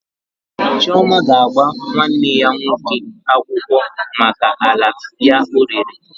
Chioma ga-agba nwanne ya nwoke akwụkwọ maka ala ya o rere